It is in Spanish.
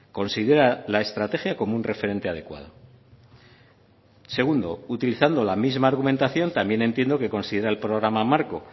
considera la estrategia como un referente adecuado segundo utilizando la misma argumentación también entiendo que considera el programa marco